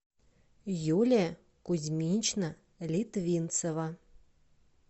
юлия кузьминична литвинцева